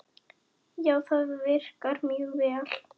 Já, það virkar mjög vel.